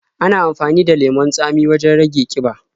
Ana amafani da lemon tsamin wajen rage ƙiba.